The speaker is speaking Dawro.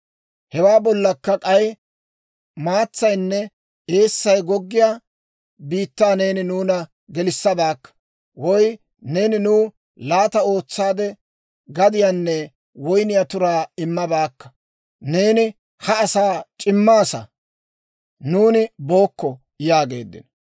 Hewaa bollakka k'ay maatsaynne eessay goggiyaa biittaa neeni nuuna gelissabaakka, woy neeni nuw laata ootsaade gadiyaanne woyniyaa turaa immabaakka; neeni ha asaa c'immaasa. Nuuni bookko!» yaageeddino.